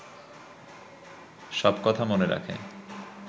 সব কথা মনে রাখে